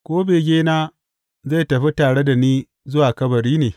Ko begena zai tafi tare da ni zuwa kabari ne?